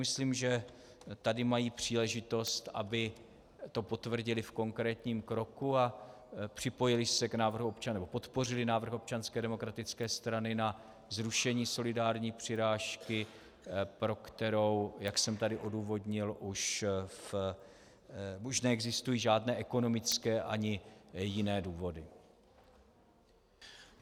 Myslím, že tady mají příležitost, aby to potvrdili v konkrétním kroku a podpořili návrh Občanské demokratické strany na zrušení solidární přirážky, pro kterou, jak jsem tady odůvodnil, už neexistují žádné ekonomické ani jiné důvody.